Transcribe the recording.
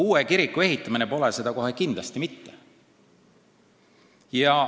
Uue kiriku ehitamine pole seda kohe kindlasti mitte.